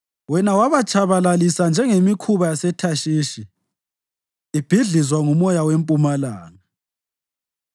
Wena wabatshabalalisa njengemikhumbi yaseThashishi ibhidlizwa ngumoya wempumalanga.